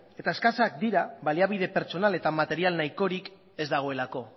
eta eskasak dira baliabide pertsonal eta material nahikorik ez dagoelako